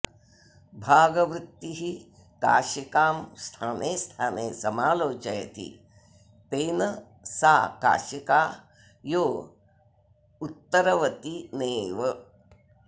भागवृत्तिः काशिकां स्थाने स्थाने समालोचयति तेन सा काशिका यो उत्तरवतिनेव